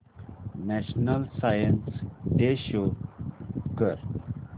national science day show कर